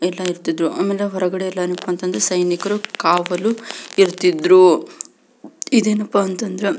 ಎಲ್ಲ ಇರ್ತಿದ್ರು ಆಮೇಲೆ ಹೊರಗಡೆ ಎಲ್ಲ ಏನಪಾ ಅಂದ್ರೆ ಸೈನಿಕರು ಕಾವಲು ಇರ್ತಿದ್ರು ಇದೇನಪ್ಪ ಅಂದ್ರೆ--